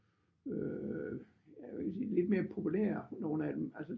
Øh jeg ville sige lidt mere populære nogle af dem altså